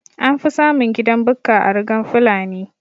Anfi samun gidan Bukka a rugan fulani